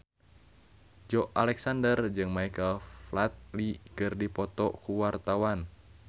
Joey Alexander jeung Michael Flatley keur dipoto ku wartawan